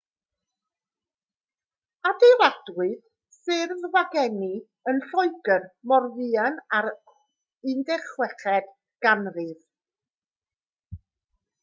adeiladwyd ffyrdd wagenni yn lloegr mor fuan â'r 16eg ganrif